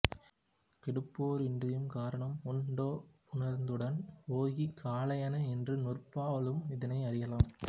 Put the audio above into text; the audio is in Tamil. கொடுப்போர் இன்றியும் கரணம் உண்டேபுணர்ந்துடன் போகிய காலையான என்ற நூற்பாவாலும் இதனை அறியலாம்